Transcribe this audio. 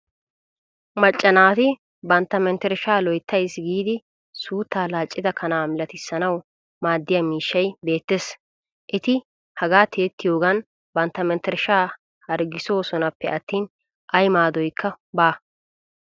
Macca naati bantta menttershshaa loyttayis giidi suuttaa laaccida kanaa malatissanawu maaddiya miishshay beettes. Eti hagaa tiyettiyogan bantta menttershshaa harggissoosonappe attin ay maadoyikka baa.